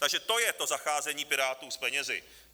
Takže to je to zacházení Pirátů s penězi.